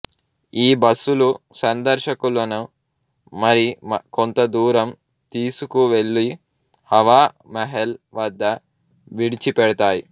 ఈ బస్సులు సందర్శకులను మరి కొంత దూరం తీసుకు వెళ్ళి హవా మహల్ వద్ద విడిచి పెడతాయి